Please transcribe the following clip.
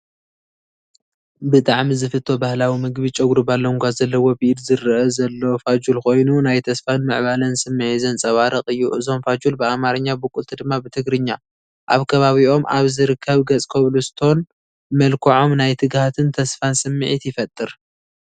ብጣዕሚ ዝፍቶ ባህላዊ ምግቢ ጨጉሪ ባሎንጓ ዘለዎ ብኢድ ዝረአ ዘሎ ፋጁል ኮይኑ፡ ናይ ተስፋን ምዕባለን ስምዒት ዘንጸባርቕ እዩ። እዞም ፋጁል ብኣማርኛ ቡቁልቲ ድማ ብትግርኛ፣ ኣብ ከባቢኦም ኣብ ዝርከብ ገፅኮብልስቶን መልክዖም ናይ ትግሃትን ተስፋን ስምዒት ይፈጥር።